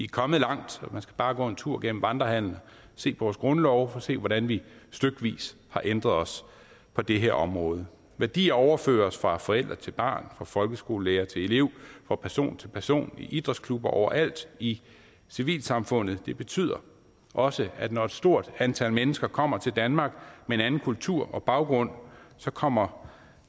kommet langt man skal bare gå en tur gennem vandrehallen og se vores grundlove for at se hvordan vi stykvis har ændret os på det her område værdier overføres fra forælder til barn fra folkeskolelærer til elev fra person til person i idrætsklubber over alt i civilsamfundet det betyder også at når et stort antal mennesker kommer til danmark med en anden kultur og baggrund kommer